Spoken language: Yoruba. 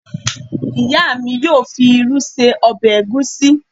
Ìyá mi yóò fi irú ṣe ọbẹ̀ ègúsi.